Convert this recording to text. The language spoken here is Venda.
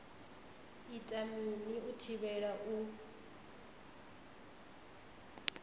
ita mini u thivhela u